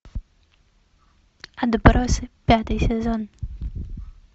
отбросы пятый сезон